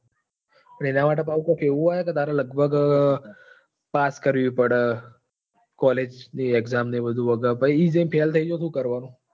પણ એના માટે કૈક એવું હોય કે લગભ pass કરવી પડે college ની exam ને બધું. પછી ત્યાં જઈ ને તું fail થઇ જાય તો શું કામ નું?